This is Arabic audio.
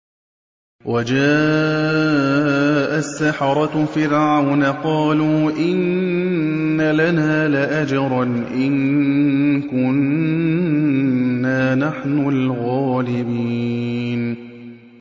وَجَاءَ السَّحَرَةُ فِرْعَوْنَ قَالُوا إِنَّ لَنَا لَأَجْرًا إِن كُنَّا نَحْنُ الْغَالِبِينَ